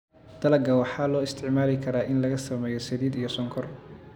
Dalagga waxaa loo isticmaali karaa in laga sameeyo saliid iyo sonkor.